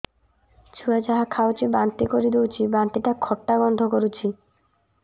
ଛୁଆ ଯାହା ଖାଉଛି ବାନ୍ତି କରିଦଉଛି ବାନ୍ତି ଟା ଖଟା ଗନ୍ଧ କରୁଛି